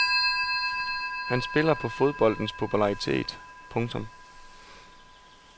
Han spiller på fodboldens popularitet. punktum